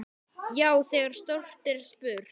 Já, þegar stórt er spurt.